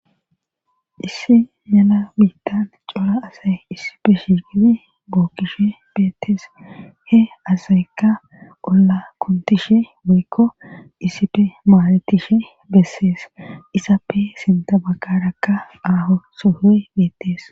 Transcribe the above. Issi mela biittan cola asay issife shiigidi bookkishe beettees he asayka olla kuntishe boykko issife maaletishe bessees isappe sinta bagkarakka aaho sohoy beettees.